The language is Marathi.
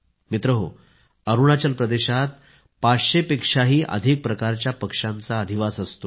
मित्रांनो अरूणाचल प्रदेशात 500 पेक्षांही अधिक प्रकारच्या पक्ष्यांचा अधिवास असतो